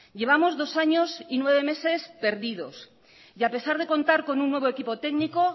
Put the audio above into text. llevamos dos años y nueve meses perdidos y a pesar de contar con un nuevo equipo técnico